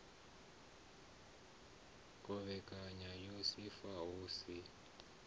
khovhekano ya ifa hu si